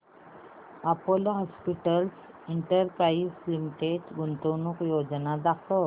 Apollo hospitals enterprise limited गुंतवणूक योजना दाखव